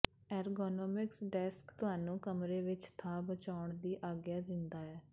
ergonomics desk ਤੁਹਾਨੂੰ ਕਮਰੇ ਵਿੱਚ ਥਾਂ ਬਚਾਉਣ ਦੀ ਆਗਿਆ ਦਿੰਦਾ ਹੈ